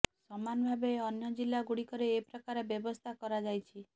ସମାନ ଭାବେ ଅନ୍ୟ ଜିଲ୍ଲାଗୁଡ଼ିକରେ ଏ ପ୍ରକାର ବ୍ୟବସ୍ଥା କରାଯାଇଛି